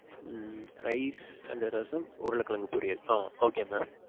ம் rice and rasam, உருள கிழங்கு பொரியல். ஆ. okay mam.